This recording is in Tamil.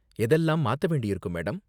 எதெல்லாம் மாத்த வேண்டியிருக்கும் மேடம்?